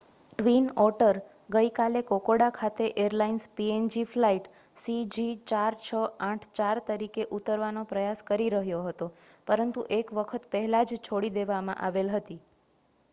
twin otter ગઈકાલે Kokoda ખાતે airlines png flight cg4684 તરીકે ઉતરવાનો પ્રયાસ કરી રહ્યો હતો પરંતુ એક વખત પહેલા જ છોડી દેવામાં આવેલ હતી